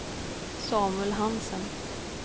Samuel Hansen